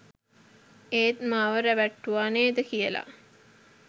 ඒත් මාව රැවැට්ටුවා නේද කියලා